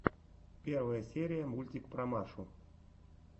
первая серия мультик про машу